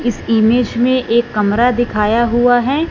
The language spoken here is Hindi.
इस इमेज में एक कमरा दिखाया हुआ है।